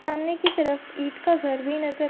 सामने की तरफ ईंट का घर भी नजर --